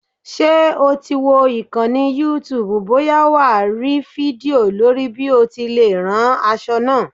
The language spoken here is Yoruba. Ṣé o ti wo ìkànnì youtube bóyá wà á rí fídíò lórí bí o ti lè rán aṣọ náà?